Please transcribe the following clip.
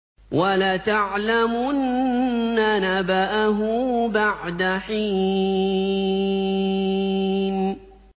وَلَتَعْلَمُنَّ نَبَأَهُ بَعْدَ حِينٍ